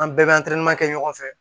An bɛɛ bɛ kɛ ɲɔgɔn fɛ